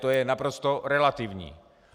To je naprosto relativní.